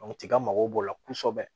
tiga mago b'o la kosɛbɛ